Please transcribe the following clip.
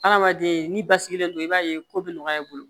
Hadamaden n'i basigilen no i b'a ye ko bɛ nɔgɔya i bolo